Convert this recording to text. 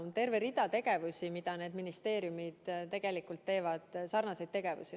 On terve rida tegevusi, mida need ministeeriumid teevad – sarnaseid tegevusi.